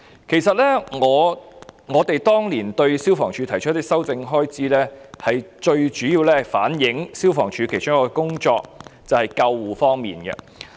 其實我們當年提出修訂消防處的開支，最主要的目的是反映消防處的其中一項工作，就是救護方面。